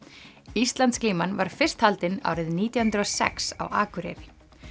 Íslandsglíman var fyrst haldin árið nítján hundruð og sex á Akureyri